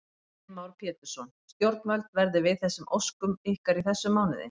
Heimir Már Pétursson: Stjórnvöld verði við þessum óskum ykkar í þessum mánuði?